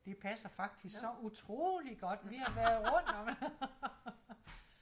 Det passer faktisk så utroligt godt vi har været rundt